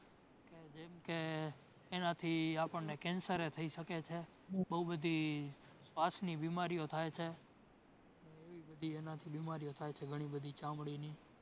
જેમકે એના થી આપણને cancer એ થઈ શકે છે. બોવ બધી શ્વાસની બીમારીઓ થાય છે એવી બધી એના થી બીમારીઓ થાય છે ઘણી બધી ચામડીની